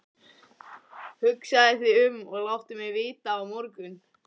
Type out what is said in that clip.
Hugsaðu þig um og láttu mig vita á morgun.